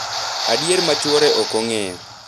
adier ma chwore ok ong’eyo.